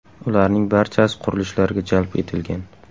Ularning barchasi qurilishlarga jalb etilgan.